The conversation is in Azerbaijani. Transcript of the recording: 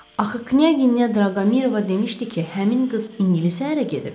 Axı Knyaginya Draqomirova demişdi ki, həmin qız ingilis ərə gedib?